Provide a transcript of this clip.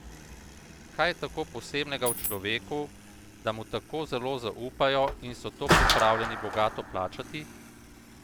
Kaj je tako posebnega v človeku, da mu tako zelo zaupajo in so to pripravljeni bogato plačati?